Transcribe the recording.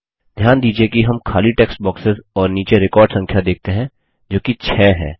घ्यान दीजिये कि हम खाली टेक्स्ट बॉक्सेस और नीचे रिकॉर्ड संख्या देखते हैं जोकि 6 है